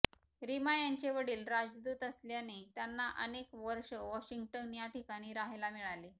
रिमा यांचे वडील राजदूत असल्याने त्यांना अनेक वर्ष वाॅशिंग्टन या ठिकाणी राहिला मिळाले